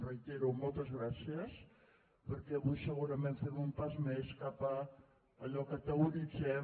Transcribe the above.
ho reitero moltes gràcies perquè avui segurament fem un pas més cap a allò que teoritzem